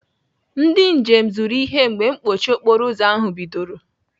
Ndị njem zụrụ ihe mgbe mkpọchi okporoụzọ ahụ bidoro.